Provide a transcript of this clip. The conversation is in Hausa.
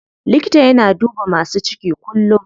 Likata yana duba masu ciki kullum.